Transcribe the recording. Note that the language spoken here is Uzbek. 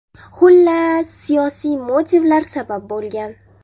Xullas, siyosiy motivlar sabab bo‘lgan.